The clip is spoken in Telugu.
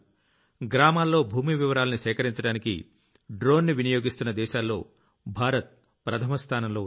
గ్రామాల్లో భూమి వివరాల్ని సేకరించడానికి డ్రోన్ ని వినియోగిస్తున్న దేశాల్లో భారత్ ప్రథమ స్థానంలో ఉంది